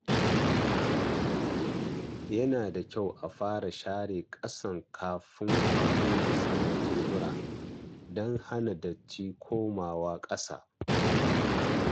Yana da kyau a fara share ƙasa kafin a goge saman tebura don hana datti komawa ƙasa.